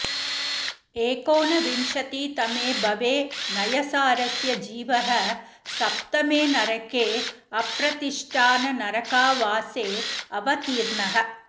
एकोनविंशतितमे भवे नयसारस्य जीवः सप्तमे नरके अप्रतिष्ठाननरकावासे अवतीर्णः